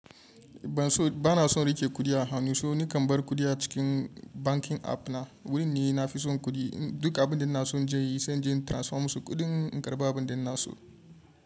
Bana son riƙe kuɗi a hannu, so ni kam bar kuɗi a cikin banking app na. Wurin ne na fi son kuɗi. Duk abin da na so je yi, sai na je in transfer musu kuɗin, in karɓa abin da na so.